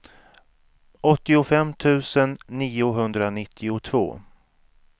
åttiofem tusen niohundranittiotvå